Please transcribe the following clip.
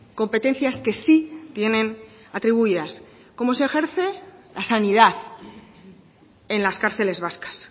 competencias que sí tienen atribuidas cómo se ejerce la sanidad en las cárceles vascas